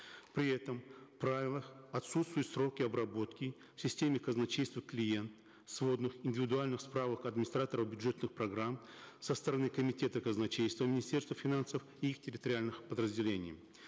при этом в правилах отсутствуют сроки обработки в системе казначейство клиент сводных индивидуальных справок администраторов бюджетных программ со стороны комитета казначейства министерства финансов и их территориальных подразделений